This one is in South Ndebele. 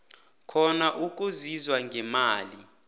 khona ukusizwa ngemali